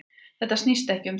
Þetta snýst ekki um það